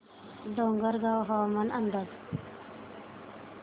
डोंगरगाव हवामान अंदाज